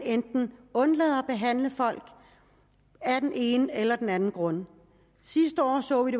undlader at behandle folk af den ene eller den anden grund sidste år så vi